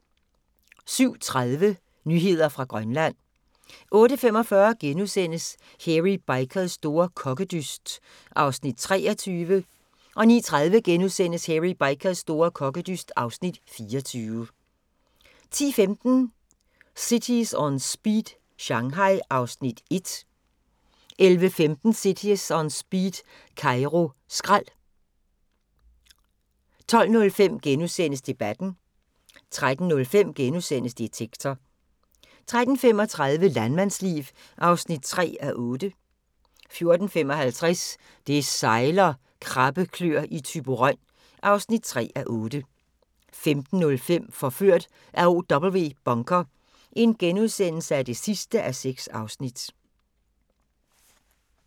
07:30: Nyheder fra Grønland 08:45: Hairy Bikers store kokkedyst (Afs. 23)* 09:30: Hairy Bikers store kokkedyst (Afs. 24)* 10:15: Cities On Speed - Shanghai (Afs. 1) 11:15: Cities On Speed - Kairo skrald 12:05: Debatten * 13:05: Detektor * 13:35: Landmandsliv (3:8) 14:35: Det sejler - krabbeklør i Thyborøn (3:8) 15:05: Forført af OW Bunker (6:6)*